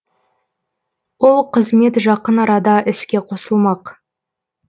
ол қызмет жақын арада іске қосылмақ